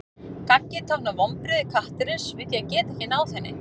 Gaggið táknar vonbrigði kattarins við því að geta ekki náð henni.